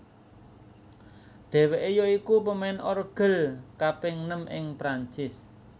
Dheweke ya iku pemain orgel kaping nem ing Perancis